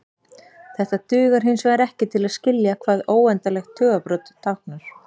Þetta dugar hinsvegar ekki til að skilja hvað óendanlegt tugabrot táknar.